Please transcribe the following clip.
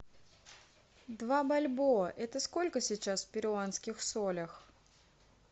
два бальбоа это сколько сейчас в перуанских солях